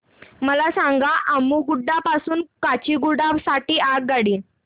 मला सांगा अम्मुगुडा पासून काचीगुडा साठी आगगाडी